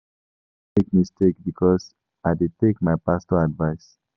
I no dey make mistake because I dey take my pastor advice.